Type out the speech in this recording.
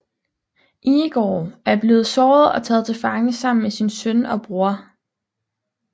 Igor er blevet såret og er taget til fange sammen med sin søn og bror